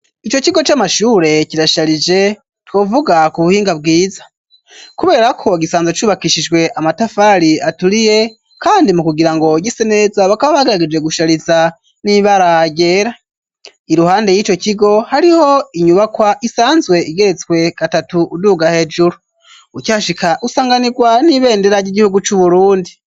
Ico kigo c'amashure kirasharije twovuga ku buhinga bwiza kubera ko gisanzwe cubakishijwe amatafari aturiye kandi mu kugira ngo gise neza bakaba bagarageje gushariza n'ibara ryera iruhande yico kigo hariho , isanzwe igeretswe gatatu uduga hejuru ukihashika usanganirwa n'ibendera ry'igihugu cu Burundi.